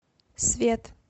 свет